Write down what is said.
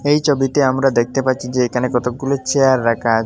এই চোবিতে আমরা দেখতে পাচ্চি যে একানে কতকগুলো চেয়ার রাখা আচে--